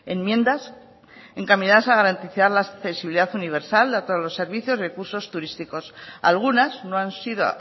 enmiendas encaminadas a garantizar la accesibilidad universal a todos los servicios y recursos turísticos algunas no han sido